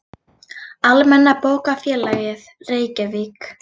Almenna bókafélagið, Reykjavík.